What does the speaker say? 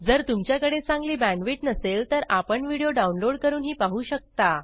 जर तुमच्याकडे चांगली बॅण्डविड्थ नसेल तर आपण व्हिडिओ डाउनलोड करूनही पाहू शकता